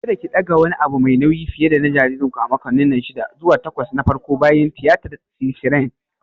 Kada ki ɗaga wani abu mai nauyi fiye dana jaririnku a makonni shida zuwa takwas na farko bayan tiyatar siserian!